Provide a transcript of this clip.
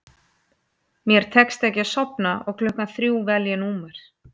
Mér tekst ekki að sofna og klukkan þrjú vel ég númer